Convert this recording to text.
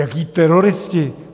Jaký teroristi?